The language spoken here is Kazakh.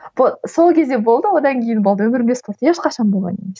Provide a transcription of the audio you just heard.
сол кезде болды одан кейін болды өмірімде спорт ешқашан болған емес